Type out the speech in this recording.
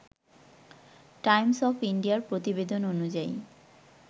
Times of ইন্ডিয়ার প্রতিবেদন অনুযায়ী